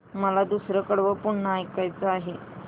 मला दुसरं कडवं पुन्हा ऐकायचं आहे